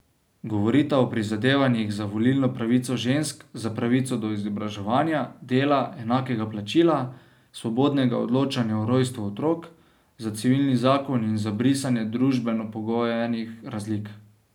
Govorita o prizadevanjih za volilno pravico žensk, za pravico do izobraževanja, dela, enakega plačila, svobodnega odločanja o rojstvu otrok, za civilni zakon in za brisanje družbeno pogojenih razlik.